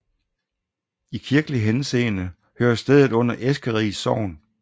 I kirkelig henseende hører stedet under Eskeris Sogn